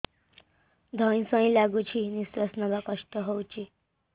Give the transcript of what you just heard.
ଧଇଁ ସଇଁ ଲାଗୁଛି ନିଃଶ୍ୱାସ ନବା କଷ୍ଟ ହଉଚି